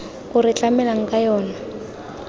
o re tlamelang ka yona